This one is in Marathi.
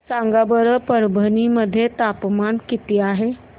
सांगा बरं परभणी मध्ये तापमान किती आहे